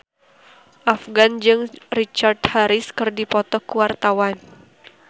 Afgan jeung Richard Harris keur dipoto ku wartawan